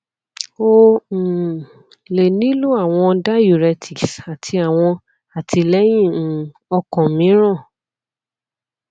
o um le nilo awọn diuretics ati awọn atilẹyin um okan miiran